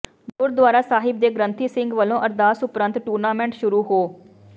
ਗੁਰਦੁਆਰਾ ਸਾਹਿਬ ਦੇ ਗ੍ੰਥੀ ਸਿੰਘ ਵੱਲੋਂ ਅਰਦਾਸ ਉਪਰੰਤ ਟੂਰਨਾਮੈਂਟ ਸ਼ੁਰੂ ਹੋ